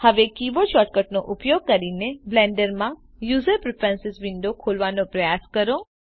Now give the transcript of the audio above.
હવે કીબોર્ડ શૉર્ટકટનો ઉપયોગ કરીને બ્લેન્ડર માં યુઝર પ્રીફ્રેન્સીસ વિન્ડો ખોલવાનો પ્રયાસ કરો